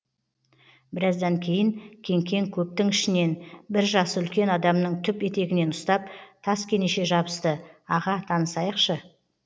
біраздан кейін кеңкең көптің ішінен бір жасы үлкен адамның түп етегінен ұстап таскенеше жабысты аға танысайықшы